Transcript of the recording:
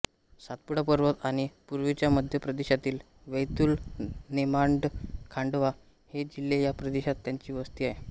सातपुडा पर्वत आणि पूर्वीच्या मध्य प्रदेशातील वैतुल नेमाडखांडवा हे जिल्हे या प्रदेशात त्यांची वस्ती आहे